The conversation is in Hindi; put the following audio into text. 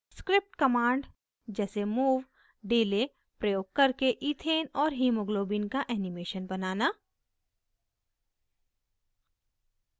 script commands जैसे move delay प्रयोग करके ethane और haemoglobin का animation बनाना